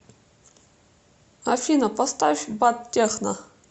афина поставь баттехно